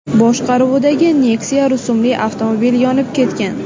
boshqaruvidagi Nexia rusumli avtomobil yonib ketgan.